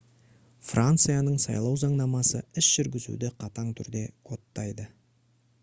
францияның сайлау заңнамасы іс жүргізуді қатаң түрде кодтайды